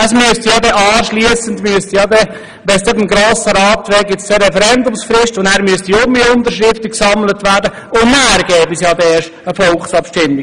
Würde das Geschäft dem Beschluss des Grossen Rats unterliegen, gäbe es eine Referendumsfrist, dann müssten wiederum Unterschriften gesammelt werden, und erst dann gäbe es eine Volksabstimmung.